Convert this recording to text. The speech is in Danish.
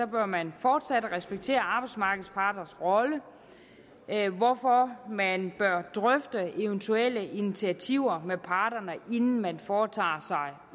bør man fortsat respektere arbejdsmarkedets parters rolle hvorfor man bør drøfte eventuelle initiativer med parterne inden man foretager sig